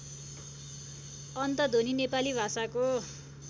अन्तध्वनि नेपाली भाषाको